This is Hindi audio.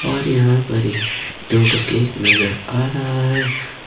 और यहां पर ये दो ठो केक नजर आ रहा है।